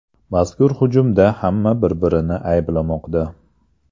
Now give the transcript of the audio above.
Mazkur hujumda hamma bir-birini ayblamoqda.